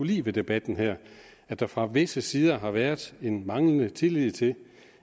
lide ved debatten her at der fra visse sider har været en manglende tillid til